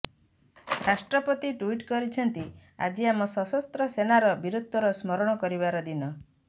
ରାଷ୍ଟ୍ରପତି ଟୁଇଟ କରିଛନ୍ତି ଆଜି ଆମ ସଶସ୍ତ୍ର ସେନାର ବୀରତ୍ବକୁ ସ୍ମରଣ କରିବାର ଦିନ